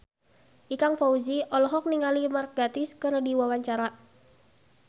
Ikang Fawzi olohok ningali Mark Gatiss keur diwawancara